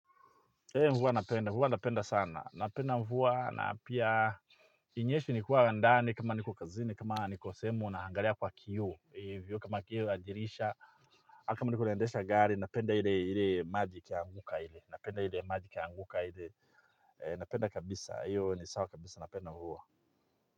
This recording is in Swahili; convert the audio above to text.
Ee mvua napenda, mvua napenda sana, napenda mvua na pia inyeshe nikuwa ndani, kama niko kazini, kama niko sehemu, naangalia kwa kioo, kama kioo ya dirisha, kama nilovyo endesha gari, napenda ile maji ikianguka ili, napenda ile maji ikianguka ili, napenda kabisa, hiyo ni sawa kabisa, napenda mvua.